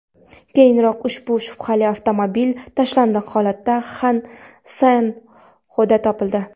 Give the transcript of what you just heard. Keyinroq ushbu shubhali avtomobil tashlandiq holatda San-Xosedan topildi.